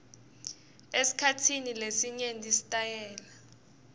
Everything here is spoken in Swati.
esikhatsini lesinyenti sitayela